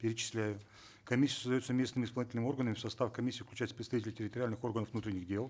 перечисляют комиссия создается местными исполнительными органами в состав комиссии включается представитель территориальных органов внутренних дел